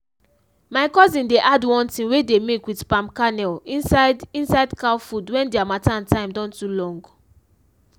my cousin dey add one thing wey dey make with palm kernel inside inside cow food wen d harmattan time don too long.